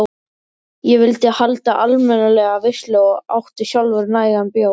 Ég vildi halda almennilega veislu og átti sjálfur nægan bjór.